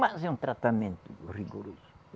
Mas é um tratamento rigoroso.